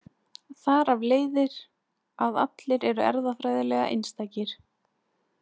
Þar af leiðir að allir eru erfðafræðilega einstakir.